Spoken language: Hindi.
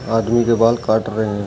आदमी के बाल काट रहे हैं।